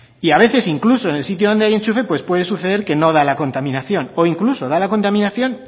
y a veces incluso en el sitio donde hay enchufe pues puede suceder que no da la contaminación o incluso da la contaminación